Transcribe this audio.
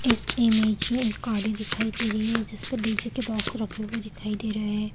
इस इमेज में एक गाड़ी दिखाई दे रही है जिसपे डीजे के बॉक्स रखे हुए दिखाई दे रहे है।